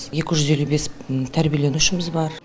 екі жүз елу бес тәрбиеленушіміз бар